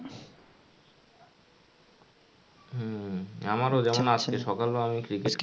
আমার যেমন আজকে সকাল বেলা আমি cricket খেললাম.